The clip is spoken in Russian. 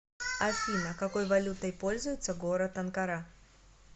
афина какой валютой пользуется город анкара